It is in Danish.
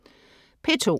P2: